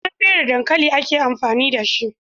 Sai an fere dankali ake amfani dashi